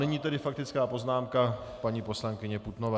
Nyní tedy faktická poznámka paní poslankyně Putnové.